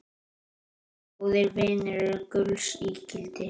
Góðir vinir eru gulls ígildi.